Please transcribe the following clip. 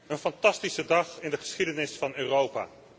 Een fantastische dag in de geschiedenis van Europa.